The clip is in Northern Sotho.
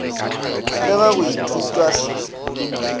le ge go ithutwa se